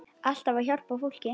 Alltaf að hjálpa fólki.